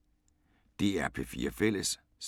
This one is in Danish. DR P4 Fælles